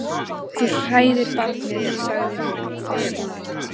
Þú hræðir barnið, sagði hún fastmælt.